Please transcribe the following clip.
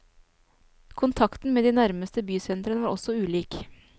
Kontakten med de nærmeste bysentrene var også ulik.